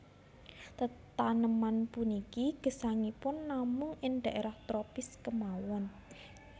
Tetaneman puniki gesangipun namun ing dhaérah tropis kémawon